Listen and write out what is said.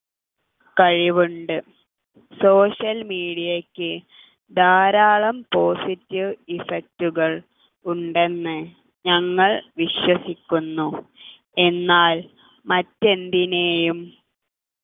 കഴിവുണ്ട് social media യ്ക്ക് ധാരാളം positive effect കൾ ഉണ്ടെന്ന് ഞങ്ങൾ വിശ്വസിക്കുന്നു എന്നാൽ മറ്റെന്തിനെയും